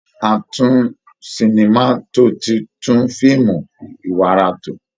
Atún-sinima-tò ti tún fíìmù iwara tò